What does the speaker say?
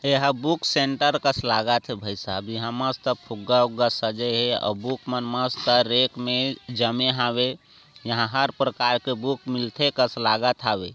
यहा book centre कस लागत है भाई सहाब यहा मस्त फुग्गा वूग्गा सजे है ओ बुक मस्त रैक मा जमे हवे यहा हर प्रकार के बुक मिलते कस लागत हवे।